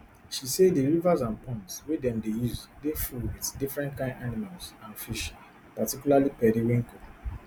she say di rivers and ponds wey dem dey use dey full wit different kain animals and fish particularly periwinkle